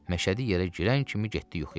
Məşədi yerə girən kimi getdi yuxuya.